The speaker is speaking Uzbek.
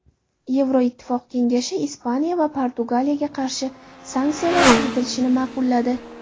Yevroittifoq Kengashi Ispaniya va Portugaliyaga qarshi sanksiyalar kiritilishini ma’qulladi.